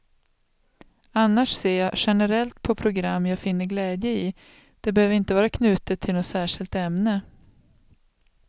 Annars ser jag generellt på program jag finner glädje i, det behöver inte vara knutet till något särskilt ämne.